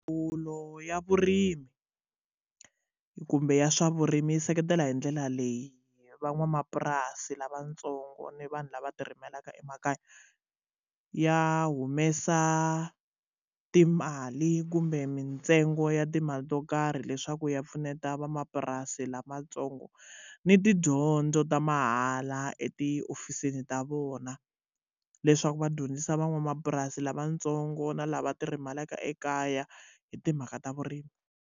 Ndzawulo ya vurimi kumbe ya swa vurimi yi seketela hi ndlela leyi van'wamapurasi lavatsongo ni vanhu lava ti rimelaka emakaya ya humesa timali kumbe mintsengo ya timali to karhi leswaku ya pfuneta van'wamapurasi lamatsongo ni tidyondzo ta mahala etihofisini ta vona leswaku va dyondzisa van'wamapurasi lavatsongo na lava ti rimelaka ekaya hi timhaka ta vurimi.